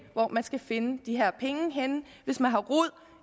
hvor man skal finde de her penge henne hvis man har rod